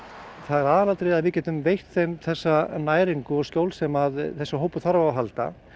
aðalatriðið er að við getum veitt þeim þessa næringu og skjól sem þessi hópur þarf á að halda